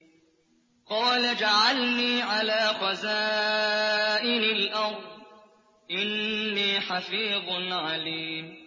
قَالَ اجْعَلْنِي عَلَىٰ خَزَائِنِ الْأَرْضِ ۖ إِنِّي حَفِيظٌ عَلِيمٌ